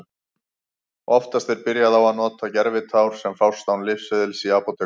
Oftast er byrjað á að nota gervitár sem fást án lyfseðils í apótekum.